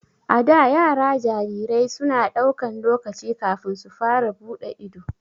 A da, yara jarirai su na daukan lokaci kafin su fara bude ido.